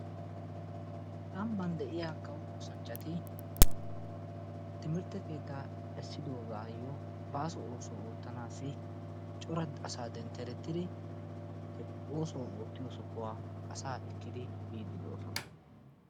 Ambban de'iyaa kawo oosanchchati timirtte keettaa essidoogayoo baaso oosuwaa oottaanaasi cora asaa dentteretiri he oossuwaa oottiyoo sohuwaa asaa ekkidi biidi doosona.